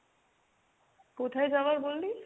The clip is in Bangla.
কোথায় যাওয়ার বললি?